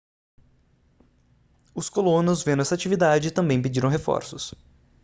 os colonos vendo essa atividade também pediram reforços